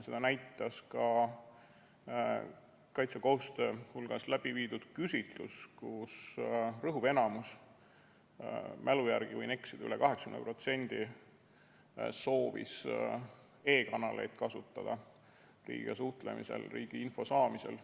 Seda näitas ka kaitsekohustuslaste hulgas läbi viidud küsitlus, kus rõhuv enamus – ma mälu järgi ütlen ja võin eksida, üle 80% soovis e-kanaleid kasutada riigiga suhtlemisel, riigi info saamisel.